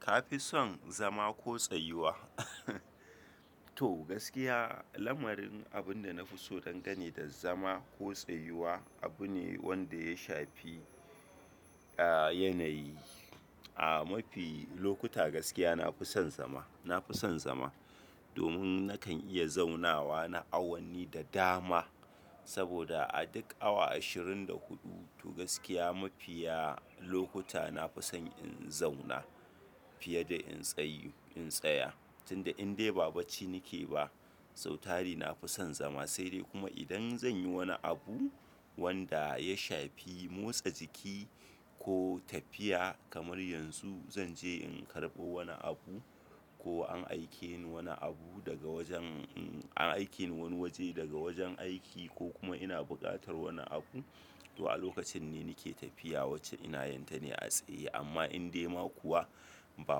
Ka fi son zama ko tsayuwa? To gaskiya lamarin abunda na fi so don gani da zama ko tsayuwa abu ne wanda ya shafi a yanayi. A mafi lokuta gaskiya na fi son zama, na fi son zama. Domin nakan iya zaunawa na awanni da dama saboda a duk awa ashirin da huɗu to gaskiya mafiya lokuta na fi son in zauna fiye da in tsayu-- in tsaya tunda in dai ba bacci nake ba. Sautari na fi son zama sai dai kuma idan zan yi wani abu wanda ya shafi motsa jiki ko tafiya kamar yanzu zan je in karɓo wani abu ko an aike ni wani abu daga wajen-- an aike ni wani waje daga wajen aiki ko kuma ina buƙatar wani abu to a lokacin ne nake tafiya wacce ina yanta ne a tsaye. Amma in dai ma kuwa ba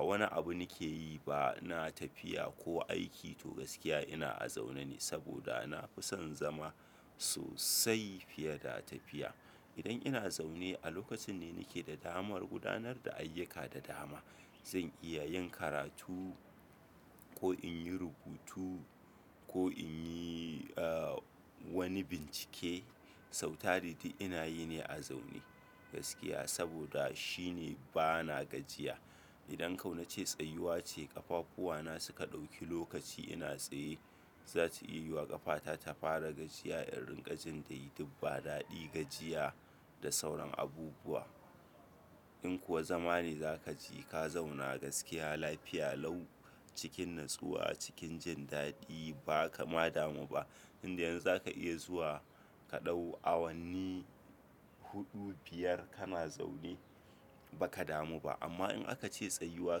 wani abu nake yi ba ina tafiya ko aiki to gaskiya ina a zaune ne saboda na fi son zama sosai fiye da tafiya. Idan ina zaune a lokacin ne nake da damar gudanar da ayyuka da dama. Zan iya yin karatu ko in yi rubutu ko in yi wani bincike, sautari duk ina yi ne a zaune gaskiya saboda shine bana gajiya. Idan ko nace tsayuwa ce ƙafakuwa na suka ɗauki lokaci ina tsaye, zata iya yiwa ƙafata ta fara gajiya in ringa jin ta yi duk ba daɗi gajiya da sauran abubuwa. In kuwa zama ne zaka ji ka zauna gaskiya lafiya lau cikin natsuwa cikin jin daɗi ba ka ma damu ba. Inda yanzu za ka iya zuwa ka ɗau awanni huɗu, biyar kana zaune ba ka damu ba. Amma in aka ce tsayuwa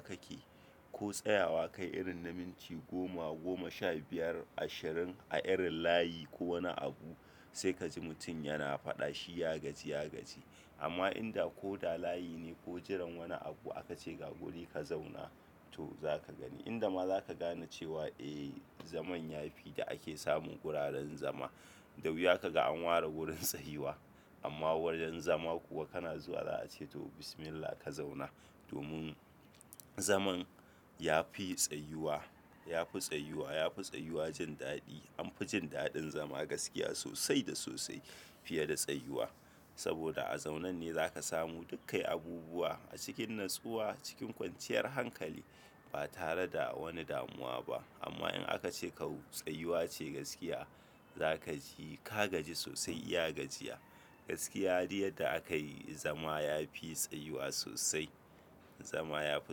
kake ko tsayawa kai irin na minti goma, goma sha biyar, ashirin a irin layi ko wani abu sai ka ji mutum yana faɗa shi ya gaji, ya gaji. Amma inda ko da layi ne ko jiran wani abu aka ce ga guri ka zauna to zaka gani. Inda ma za ka gane cewa eh zaman ya fi da ake samun ƙurarren zama. Da wuya ka ga an ware wurin tsayuwa amma wurin zama kuwa kana zuwa za a ce to Bismillah ka zauna. Domin zaman ya fi tsayuwa, ya fi tsayuwa, ya fi tsayuwa jin daɗi. An fi jin daɗin zama gaskiya sosai da sosai fiye da tsayuwa saboda a zaune ne za ka samu dukkan abubuwa a cikin natsuwa cikin kwanciyar hankali ba tare da wani damuwa ba. Amma in aka ce tsayuwa ce gaskiya za ka ji ka gaji sosai iya gajiya gaskiya duk yadda aka yi zama ya fi tsayuwa sosai. Zama ya fi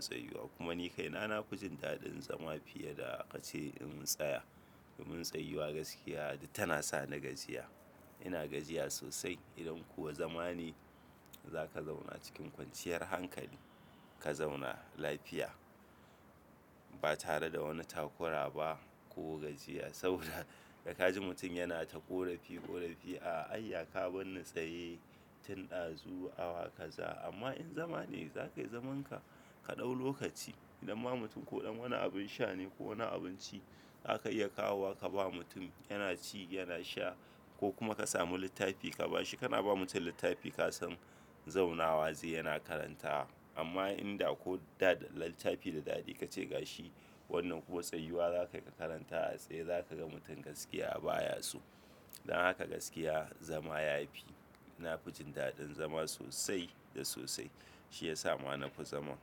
tsayuwa kuma ni kai na, na fi jin daɗin zama fiye da aka ce in tsaya. Domin tsayuwa gaskiya duk tana sa ni gajiya. Ina gajiya sosai idan kuwa zama ne za ka zauna cikin kwanciyar hankali, ka zauna lafiya ba tare da wani takura ba ko gajiya saboda da ka ji mutum yana ta ƙorafi ƙorafi a ayya ka bar ni tsaye tun ɗazu awa kaza. Amma in zama ne za ka yi zamanka ka ɗau lokaci idan ma mutum koɗam wani abin sha ne ko wani abinci aka iya kawo wa ka ba mutum yana ci yana sha ko kuma ka samu littafi ka ba shi. Kana ba mutum littafi ka san zaunawa zai yana karanta amma inda ko da littafi da daɗi ka ce ga shi wannan kuma tsayuwa za ka karanta a tsaye za ka ga mutum gaskiya baya so. Dan haka gaskiya zama ya fi. Na fi jin daɗin zama sosai da sosai shi ya sa ma na fi zama.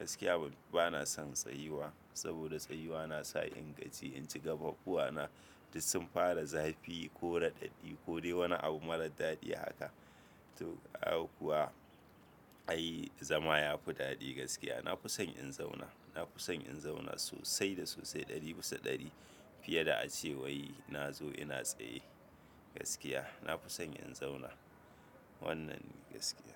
Gaskiya bana son tsayuwa saboda tsayuwa na sa in gaji, inji ƙafakuwana duk sun fara zafi ko raɗaɗi ko dai wani abu mara daɗi haka. Toh ai kuwa ai zama ya fi daɗi gaskiya. Na fi son in zauna, na fi son in zauna sosai da sosai ɗari bisa ɗari fiye da a ce wai na zo ina tsaye gaskiya. Na fi son in zauna wannan gaskiya.